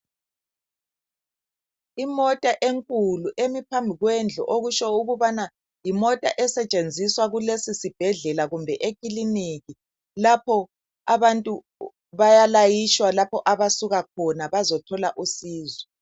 Imota enkulu emi phambi kwendlu okutsho ukubana yimota esetshenziswa kulesi sibhedlela kumbe e ciliniki lapho abantu bayalayitshwa lapho abasuka khona bazothola usizo.